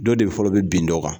Dɔw de fɔlɔ bɛ bin dɔ kan.